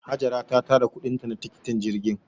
Hajara ta tara kuɗin ta na tikitin jirgin.